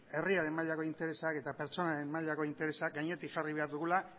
herriaren mailako interesak eta pertsonaren mailako interesak gainetik jarri behar dugula